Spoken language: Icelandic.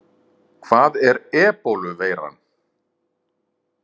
Hvað er Ebóluveiran?